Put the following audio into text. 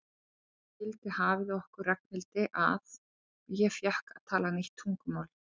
Nú skildi hafið okkur Ragnhildi að og ég fékk að tala nýtt tungumál.